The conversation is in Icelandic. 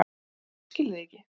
Ég skil þig ekki